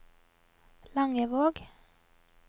Langevåg